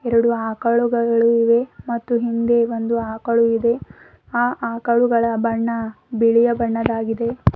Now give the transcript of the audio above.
ಎರಡು ಆಕಳುಗಳು ಇವೆ ಮತ್ತು ಹಿಂದೆ ಒಂದು ಆಕಳು ಇದೆ ಆ ಆಕಳುಗಳ ಬಣ್ಣ ಬಿಳಿಯ ಬಣ್ಣದಾಗಿದೆ.